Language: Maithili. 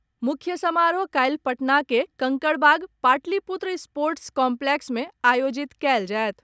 मुख्य समारोह काल्हि पटना के कंकड़बाग पाटलिपुत्र स्पोटर्स काम्प्लेक्स मे आयोजित कयल जायत।